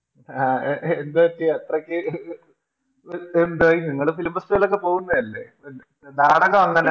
ആഹ് എന്താ പറ്റിയെ അത്രക്ക് എന്തായി നിങ്ങള് Film festival ന് ഒക്കെ പോകുന്നയല്ലേ ന് നാടകങ്ങനെ